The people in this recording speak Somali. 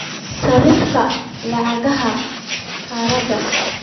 sarifka lacagaha qalaad